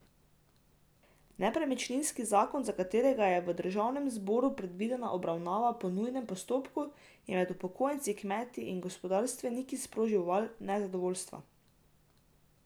Nepremičninski zakon, za katerega je v državnem zboru predvidena obravnava po nujnem postopku, je med upokojenci, kmeti in gospodarstveniki sprožil val nezadovoljstva.